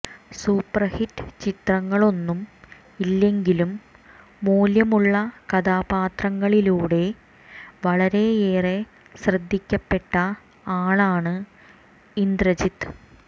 super hit ചിത്രങ്ങളൊന്നും ഇല്ലെങ്കിലും മൂല്യമുളള കഥാപാത്രങ്ങളിലൂടെ വളരെയേറെ ശ്രദ്ധിക്കപ്പെട്ട ആളാണ് ഇന്ദ്രജിത്ത്